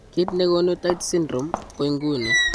Kiit negonu Tietze syndrome ko inguni